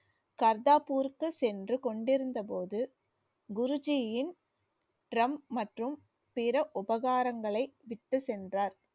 கர்த்தாபூருக்கு சென்று கொண்டிருந்தபோது குரு ஜியின் trump மற்றும் பிற உபகாரங்களை விட்டுச் சென்றார்